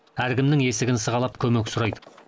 әркімнің есігін сығалап көмек сұрайды